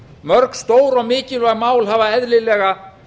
mörg stór og mikilvæg mál hafa eðlilega